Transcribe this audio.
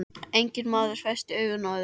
Enginn maður festi augu á öðrum.